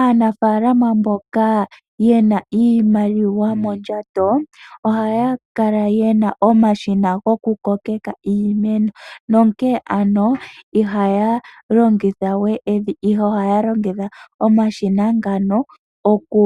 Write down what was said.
Aanafaalama mboka yena iimaliwa mondjato . Ohaya kala yena omashina goku kokeka iimeno . Nonkee ano ihaya longithawe evi ihe ohaya longitha omashina ngano oku